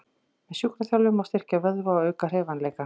Með sjúkraþjálfun má styrkja vöðva og auka hreyfanleika.